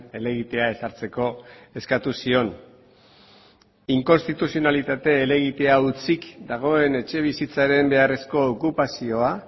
helegitea ezartzeko eskatu zion inkonstituzionalitate helegitea hutsik dagoen etxebizitzaren beharrezko okupazioa